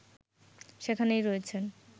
সেখানেই রয়েছেন